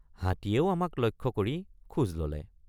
হাতীয়েও আমাক লক্ষ্য কৰি খোজ ললে।